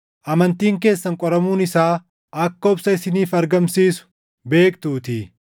amantiin keessan qoramuun isaa akka obsa isiniif argamsiisu beektuutii.